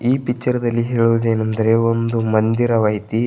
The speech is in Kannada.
ಈ ಪಿಚ್ಚರ್ ದಲ್ಲಿ ಹೇಳುವುದೇನೆಂದರೆ ಒಂದು ಮಂದಿರವೈತಿ.